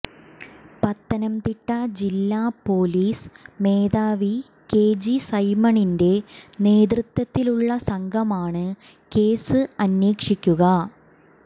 പത്തനംതിട്ട ജില്ലാ പോലീസ് മേധാവി K G സൈമണിന്റെ നേതൃത്വത്തിലുള്ള സംഘമാണ് കേസ് അന്വേഷിക്കുക